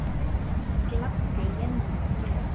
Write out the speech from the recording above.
Það gladdi Jennu mjög.